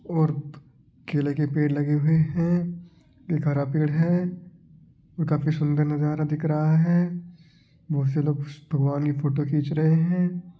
और केले के पेड़ लगे हुए है एक हरा पेड़ है और काफी सुंदर नजारा दिख रहा है बहुत सारे लोग भगवान की फोटो खीच रहे है।